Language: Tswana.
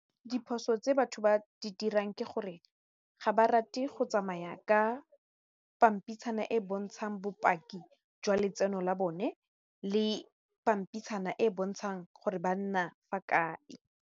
Diphoso tse batho ba di dirang ke gore ga ba rate go tsamaya ka pampitshana e e bontshang bopaki jwa letseno la bone le pampitshana e e bontshang gore ba nna fa kae.